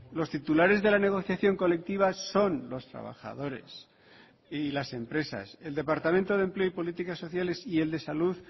los titulares de la negociación colectiva son los trabajadores y las empresas el departamento de empleo y políticas sociales y el de salud